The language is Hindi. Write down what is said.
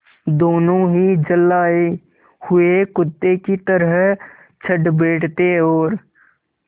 दोनों ही झल्लाये हुए कुत्ते की तरह चढ़ बैठते और